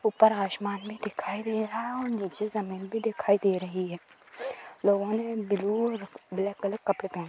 ऊपर आसमान में दिखाई दे रहा है और नीचे जमीन भी दिखाई दे रही है| लोगों ने ब्लू - ब्लैक कलर के कपड़े पहन--